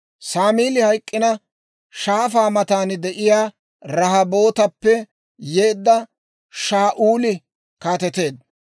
Saamili hayk'k'ina, shaafaa matan de'iyaa Rahobootappe yeedda Shaa'uuli kaateteedda.